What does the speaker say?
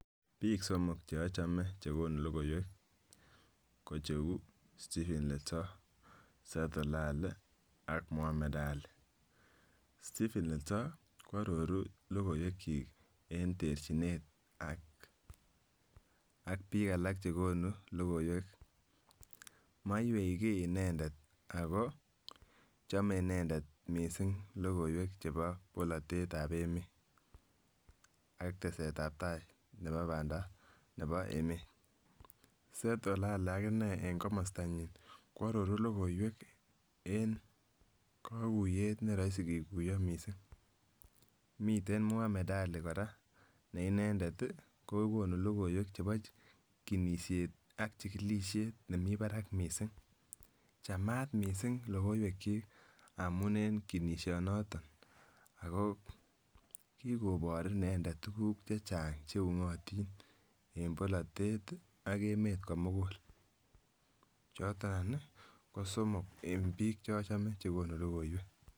Bik somok che ochome chekonu lokoiwek ko cheu Stephen Letor, Set Olale ak Mohamed Ali. Stephen Letor kwororu lokoiwek kyik en terchinet ak bik alak chekonu lokoiwek, moiwei kii inendet ako chome inendet kot missing lokoiwek chebo bolotetab emet ak tesetab tai nebo pandap nebo emet, Set Olae akinee en komostonyin kwororu lokoiwek en kokuyet neroisi kikuyo missing, miten Muhamed Ali Koraa ne inendet tii kokonu lokoiwek chebo chekinishet ak chikilishet nemii barak missing, chamat missing lokoiwek chik amun en kinisho noton ako kikobor inendet tukuk chechang cheungotik en bolotet ak emet komugul choton anch kosomok en bich cheochome chekonu lokoiwek.